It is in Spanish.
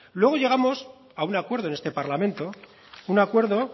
luego llegamos a un acuerdo en este parlamento un acuerdo